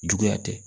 Juguya tɛ